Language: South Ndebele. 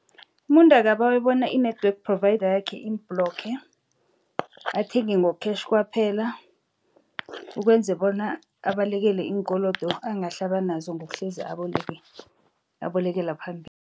Umuntu akabawe bona i-network provider yakhe imu-blocker athenge ngo-cash kwaphela ukwenze bona abalekele iinkolodo angahle abenazo ngokuhlezi abolekela phambili.